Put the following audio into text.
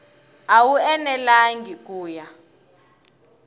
a wu enelangi ku ya